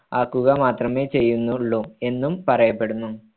മാക്കുക മാത്രമേ ചെയ്യുന്നുള്ളു എന്നും പറയപ്പെടുന്നു